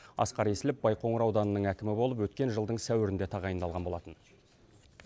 асқар есілов байқоңыр ауданының әкімі болып өткен жылдың сәуірінде тағайындалған болатын